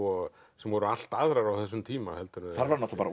sem voru allt aðrar á þessum tíma þar var náttúrulega